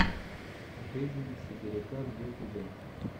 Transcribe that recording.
жизнь сибиряка в ютубе